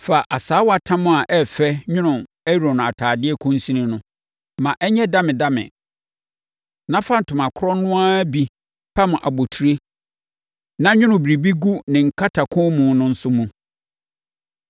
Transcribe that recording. “Fa asaawatam a ɛyɛ fɛ nwono Aaron atadeɛ kɔnsini no. Ma ɛnyɛ damedame na fa ntoma korɔ no ara bi pam abotire na nwono biribi gu ne nkatakɔnmu no nso mu.